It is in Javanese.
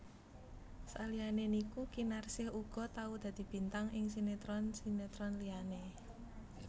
Saliyané iku Kinarsih uga tau dadi bintang ing sinetron sinetron liyané